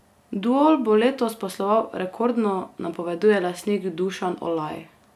Duol bo letos posloval rekordno, napoveduje lastnik Dušan Olaj.